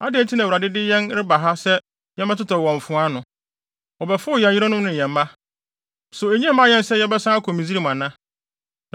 Adɛn nti na Awurade de yɛn reba ha sɛ yɛmmɛtotɔ wɔ mfoa ano? Wɔbɛfow yɛn yerenom ne yɛn mma. So ennye mma yɛn sɛ yɛbɛsan akɔ Misraim ana?”